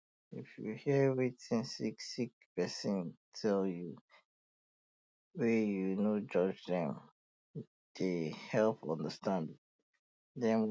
if you hear wetin sick sick person tell you wey you no judge dem dey help understand them well